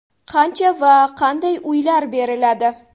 Qancha va qanday uylar beriladi?